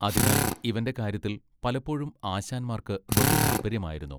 അതിനാൽ ഇവന്റെ കാര്യത്തിൽ പലപ്പോഴും ആശാന്മാർക്ക് ബഹു താല്പര്യമായിരുന്നു.